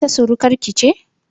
Ita surukar ki ce?